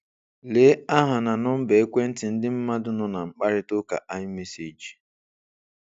Lee aha na nọmba ekwentị ndị mmadụ nọ na mkparịtaụka iMessage